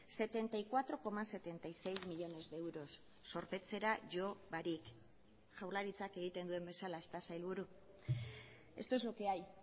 setenta y cuatro coma setenta y seis millónes de euros zorpetzera jo barik jaurlaritzak egiten duen bezala ezta sailburu esto es lo que hay